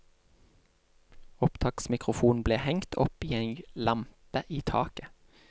Opptaksmikrofonen ble hengt opp i ei lampe i taket.